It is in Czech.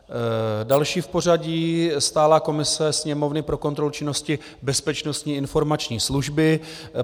Další v pořadí - stálá komise Sněmovny pro kontrolu činnosti Bezpečnostní informační služby.